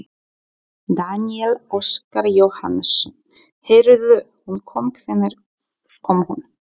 Daníel Óskar Jóhannesson: Heyrðu hún kom, hvenær kom hún?